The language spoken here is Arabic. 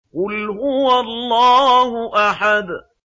قُلْ هُوَ اللَّهُ أَحَدٌ